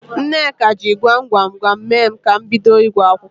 Nneka jị gwam gwam gwam mee ka m bido ịgụ akwụkwọ.